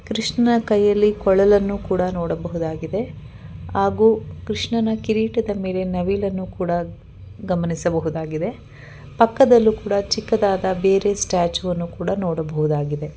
ಕೃಷ್ಣನ್ನ ಕೈಯಲ್ಲಿ ಕೊಳಲನ್ನು ಕೂಡ ನೋಡಬಹುದಾಗಿದೆ ಹಾಗು ಕೃಷ್ಣನ ಕಿರೀಟದ ಮೇಲೆ ನವಿಲನ್ನು ಕೂಡ ಗಮನಿಸಬಹುದಾಗಿದೆ ಪಕ್ಕದಲ್ಲೂ ಕೂಡ ಚಿಕ್ಕದಾದ ಬೇರೆ ಸ್ಟಾಚ್ಯು ಅನ್ನು ಕೂಡ ನೋಡಬಹುದಾಗಿದೆ.